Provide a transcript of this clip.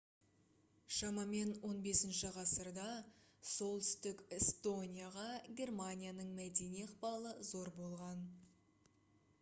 шамамен 15 ғасырда солтүстік эстонияға германияның мәдени ықпалы зор болған